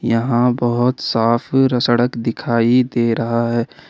यहां बहोत साफ र सड़क दिखाई दे रहा है।